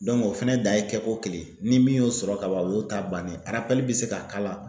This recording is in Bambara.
o fɛnɛ dan ye kɛ ko kelen ye. Ni min y'o sɔrɔ kaban o y'o ta bannen ye be se ka k'a la.